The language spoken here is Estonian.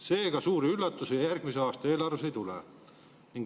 "Seega, suuri üllatusi järgmise aasta eelarves ei tule.